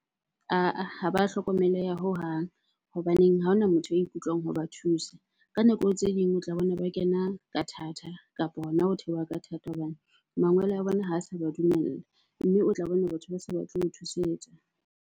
Ah-ah, ha ba hlokomeleha hohang hobaneng ha hona motho a ikutlwang ho ba thusa. Ka nako tse ding o tla bona ba kena ka thata kapa hona ho theoha ka thata hobane mangwele a bona ha sa ba dumella. Mme o tla bona batho ba sa batle ho thusetsa.